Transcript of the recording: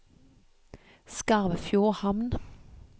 Skarvfjordhamn